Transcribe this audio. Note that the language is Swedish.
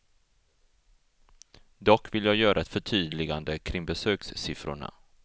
Dock vill jag göra ett förtydligande kring besökssiffrorna.